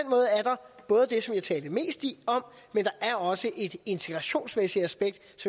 både det som jeg talte mest om men der er også et integrationsmæssigt aspekt